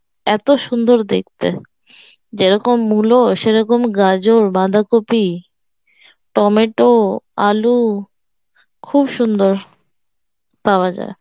এত সুন্দর দেখতে যেরকম মূল্য সেরকম গাজর, বাঁধাকপি, টমেটো, আলু খুব সুন্দর পাওয়া যায়